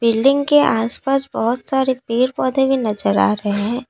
Building के आसपास बहुत सारे पेड़ पौधे भी नजर आ रहे हैं।